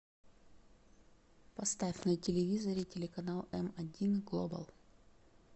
поставь на телевизоре телеканал м один глобал